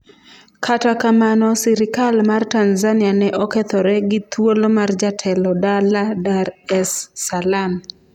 Kata kamano, sirikal mar Tanzania ne okethore gi thuolo mar jatelo dala Dar es Salaam.